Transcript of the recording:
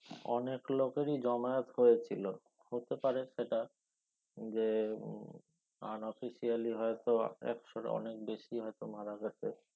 অনেক লোকেরি জমায়ত হয়েছিলো হতে পারে সেটা যে unofficially হয়তো একশো অনেক বেশি হয়তো মারা গেছে